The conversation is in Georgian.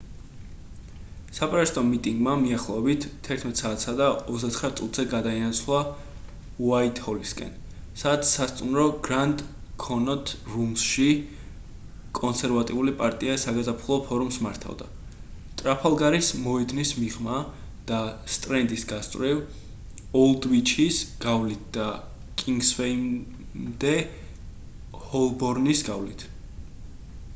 საპროტესტო მიტინგმა მიახლოებით 11:29 საათზე გადაინაცვლა უაითჰოლისკენ სადაც სასტუმრო grand connaught rooms-ში კონსერვატიული პარტია საგაზაფხულო ფორუმს მართავდა ტრაფალგარის მოედნის მიღმა და სტრენდის გასწვრივ ოლდვიჩის გავლით და კინგსვეიმდე ჰოლბორნის გავლით